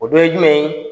O dɔ ye jumɛn ye